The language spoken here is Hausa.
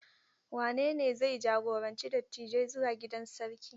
Wanene zai jagoranci dattijai zuwa gidan sarki?